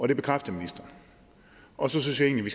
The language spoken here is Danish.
det bekræftede ministeren og så synes jeg egentlig